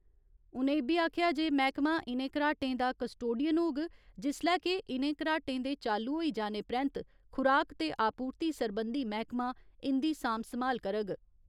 उ'नें इब्बी आखेआ जे मैह्कमा इ'नें घराटें दा कस्टोडियन होग जिसलै के इ'नें घराटें दे चालू होई जाने परैन्त खुराक ते आपूर्ति सरबंधी मैह्कमा इंदी सांभ संभाल करग।